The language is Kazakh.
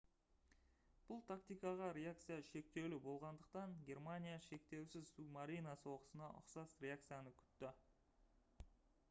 бұл тактикаға реакция шектеулі болғандықтан гермаиня шектеусіз субмарина соғысына ұқсас реакцияны күтті